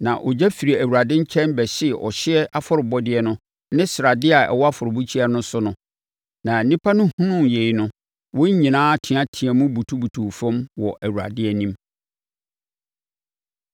Na ogya firi Awurade nkyɛn bɛhyee ɔhyeɛ afɔrebɔdeɛ no ne sradeɛ a ɛwɔ afɔrebukyia no so no. Na nnipa no hunuu yei no, wɔn nyinaa teateaam butubutuu fam wɔ Awurade anim.